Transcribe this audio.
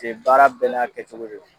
de baara bɛɛ n'a kɛcogo de do.